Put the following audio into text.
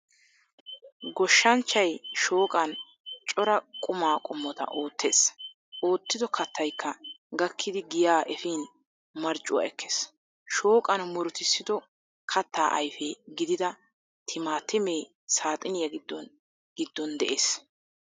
Gooshshanchaayi shooqan cora qumma qoomota oottees. oottido kaattayikka gaakkidi giiyaa efiin maarcuwaa ekkees. shooqan muurutisido kaatta ayiife giidida tiimaatime saaxiniya giidon giidon de"ees.